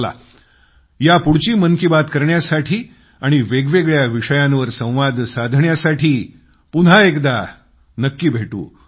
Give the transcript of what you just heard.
चला यापुढची मन की बात करण्यासाठी आणि वेगवेगळ्या विषयांवर संवाद साधण्यासाठी पुन्हा एकदा नक्की भेटू